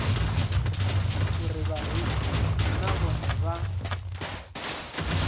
uri vhareili na vhone vha